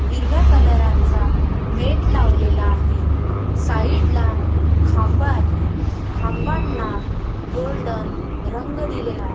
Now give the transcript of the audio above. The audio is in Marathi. हिरव्या कलरां चा मेट लावलेला आहे साईडला खांब आहे खांबांना गोल्डन रंग दिलेला आ --